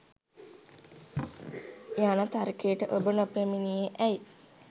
යන තර්කයට ඔබ නොපැමිණියේ ඇයි.